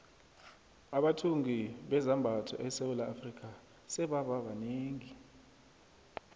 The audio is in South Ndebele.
abathungi bezambatho esewula afrika sebaba banengi